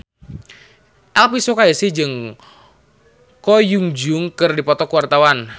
Elvy Sukaesih jeung Ko Hyun Jung keur dipoto ku wartawan